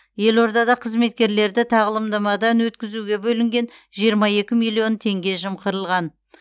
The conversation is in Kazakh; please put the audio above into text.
елордада қызметкерлерді тағылымдамадан өткізуге бөлінген жиырма екі миллион теңге жымқырылған